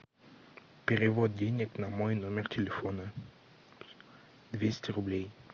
перевод денег на мой номер телефона двести рублей